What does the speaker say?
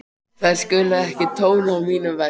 Þær skulu ekki tróna á mínum vegg.